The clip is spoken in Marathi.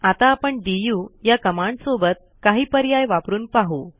आता आपण डीयू या कमांडसोबत काही पर्याय वापरून पाहू